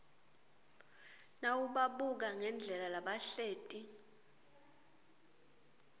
nawubabuka ngendlela labahleti